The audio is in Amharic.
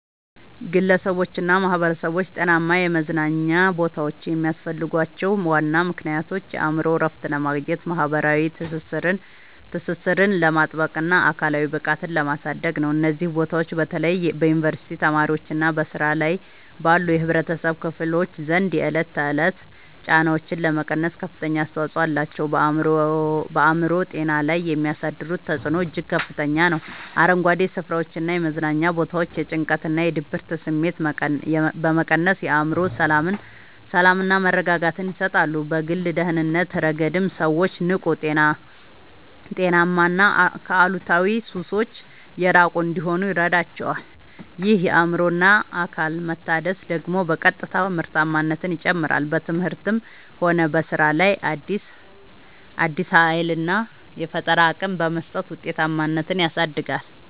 ግለሰቦችና ማኅበረሰቦች ጤናማ የመዝናኛ ቦታዎች የሚያስፈልጓቸው ዋና ምክንያቶች የአእምሮ እረፍት ለማግኘት፣ ማኅበራዊ ትስስርን ለማጥበቅና አካላዊ ብቃትን ለማሳደግ ነው። እነዚህ ቦታዎች በተለይ በዩኒቨርሲቲ ተማሪዎችና በሥራ ላይ ባሉ የኅብረተሰብ ክፍሎች ዘንድ የዕለት ተዕለት ጫናዎችን ለመቀነስ ከፍተኛ አስተዋጽኦ አላቸው። በአእምሮ ጤና ላይ የሚያሳድሩት ተጽዕኖ እጅግ ከፍተኛ ነው፤ አረንጓዴ ስፍራዎችና የመዝናኛ ቦታዎች የጭንቀትና የድብርት ስሜትን በመቀነስ የአእምሮ ሰላምና መረጋጋትን ይሰጣሉ። በግል ደህንነት ረገድም ሰዎች ንቁ: ጤናማና ከአሉታዊ ሱሶች የራቁ እንዲሆኑ ይረዳቸዋል። ይህ የአእምሮና አካል መታደስ ደግሞ በቀጥታ ምርታማነትን ይጨምራል: በትምህርትም ሆነ በሥራ ላይ አዲስ ኃይልና የፈጠራ አቅም በመስጠት ውጤታማነትን ያሳድጋል።